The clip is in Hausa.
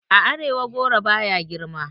A arewa goro baya girma